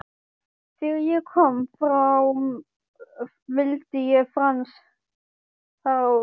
Þegar ég kom fram vildi Franz fara út.